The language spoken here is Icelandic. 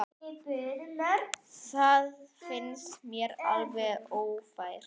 Það finnst mér alveg ófært.